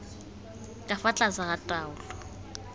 ka fa tlase ga taolo